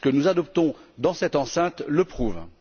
Les textes que nous adoptons dans cette enceinte le prouvent.